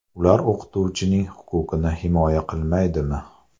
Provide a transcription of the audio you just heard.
Ular o‘qituvchining huquqini himoya qilmaydimi?